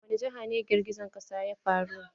A wani jiha ne girgijen ƙasa ya faru?